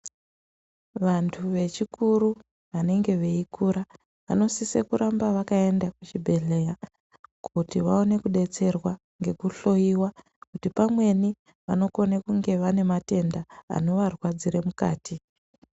Vantu vechikuru vanenge veikura vanosisa kuramba vakaenda kuchibhedhleya kuti vaone kudetserwa ngekuhloyiwa kuti pamweni vanokone kunge vane matenda anovarwadzire mukati.